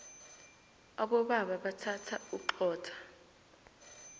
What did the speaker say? abobaba bathanda uxhotha